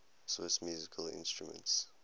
swiss musical instruments